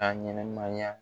Ka ɲɛnamaya